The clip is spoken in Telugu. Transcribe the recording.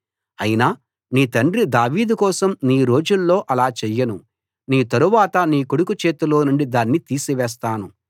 అయినా నీ తండ్రి దావీదు కోసం నీ రోజుల్లో అలా చెయ్యను నీ తరువాత నీ కొడుకు చేతిలోనుండి దాన్ని తీసివేస్తాను